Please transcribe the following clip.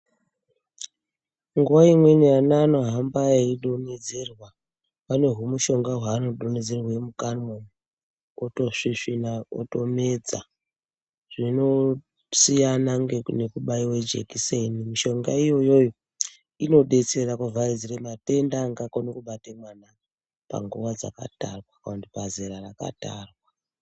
Nguwa imweni ana anohamba eidonhedzerwa, pane humushonga hwaanodonhedzerwe mukanwa otosvisvina otomedza. Zvinosiyana nekubaiwe jekiseni, mishonga iyoyoyo inodetsera kuvharidzire matenda angakone kubate mwana panguwa dzakatarwa kana kuti pazera rakatarwa.